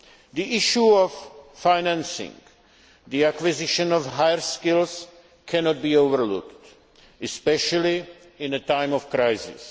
The issue of financing the acquisition of higher skills cannot be overlooked, especially in a time of crisis.